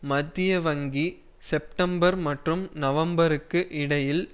மத்திய வங்கி செப்டெம்பர் மற்றும் நவம்பருக்கு இடையில்